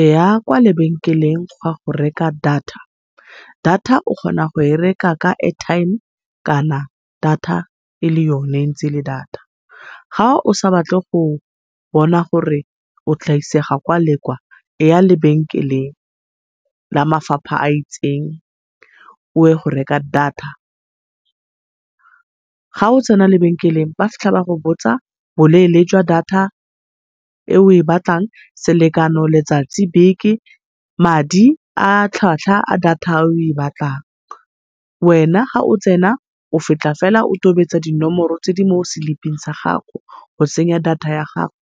E ya kwa lebenkeleng go a go reka data. Data o kgona goe reka ka airtime kana data ele yone ntse ele data. Ga o sa batle go bona gore o tla isega kwa le kwa e ya lebenkeleng la mafapha a itseng o e go reka Data. Ga o tsena lebekeleng ba fitlha ba go botsa bolele jwa Data e o e batlang, selekano, letsatsi, beke, madi a tlhatlhwa a data e o e batlang. Wena ga o tsena, o fitlha fela o tobetsa dinomoro tse di mo slip-ing sa gago, o tsenya data ya gago